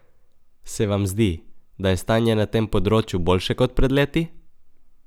Se vam zdi, da je stanje na tem področju boljše kot pred leti?